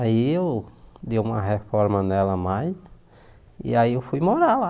Aí eu dei uma reforma nela mais, e aí eu fui morar lá.